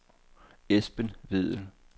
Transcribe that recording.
Esben Vedel